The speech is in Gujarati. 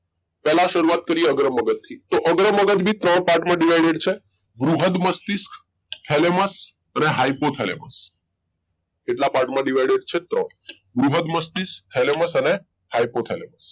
પહેલા શરૂઆત કરીએ અગ્ર મગજ થી તો અગ્ર અગજ ભી ત્રણ part માં divided હોય છે બૃહદ મસ્તિષ્ક thalamus અને hypothalamus કેટલા part માં divided છે ત્રણ બૃહદ મસ્તિષ્ક thalamus અને hypoyhalamus